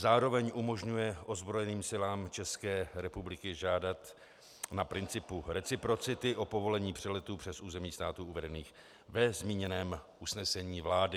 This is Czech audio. Zároveň umožňuje ozbrojeným silám České republiky žádat na principu reciprocity o povolení přeletů přes území států uvedených ve zmíněném usnesení vlády.